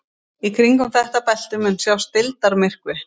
Í kringum þetta belti mun sjást deildarmyrkvi.